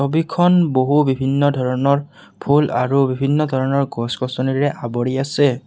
বিখন বহু বিভিন্ন ধৰণৰ ফুল আৰু বিভিন্ন ধৰণৰ গছ-গছনিৰে আৱৰি আছে।